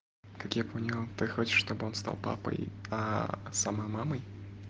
как я понял ты хочешь чтобы он стал папой сама мамой